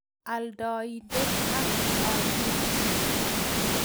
Aldaindet ak olik chii